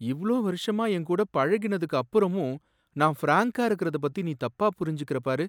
இவ்ளோ வருஷமா என் கூட பழகினதுக்கு அப்புறமும் நான் ஃபிரான்கா இருக்கிறத பத்தி நீ தப்பா புரிஞ்சுக்கிற பாரு!